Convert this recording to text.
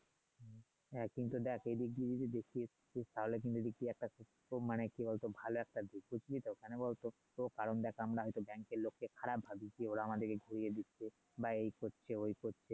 হ্যাঁ কিন্তু দেখ এই দিক দিয়ে যদি দেখতি তাহলে কিন্তু এই দিক দিয়ে মানে কি বল তো ভালো একটা দিক বুঝলি তো মানে বল তো কারণ দেখ আমারা হয় তো এর লোকদের খারাপ ভাবি যে ওরা আমাদের ঘুরিয়ে দিচ্ছে বা এই করছে ওই করছে